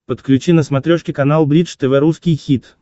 подключи на смотрешке канал бридж тв русский хит